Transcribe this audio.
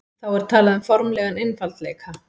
þá er talað um formlegan einfaldleika